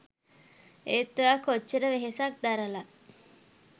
ඒත් ඔයා කොච්චර වෙහෙසක් දරල